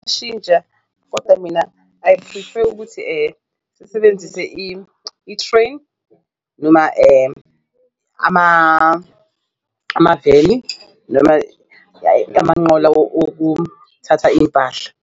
Kodwa mina I prefer ukuthi sisebenzise i-train noma amaveni noma amanqola wokuthatha iy'mpahla.